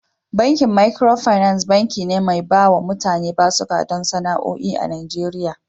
Bankin Micro finance, banki ne mai bawa mutane basuka don sana'o'i a Najeriya